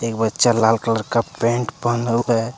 बच्चा लाल कलर का पैंट पहना हुआ है।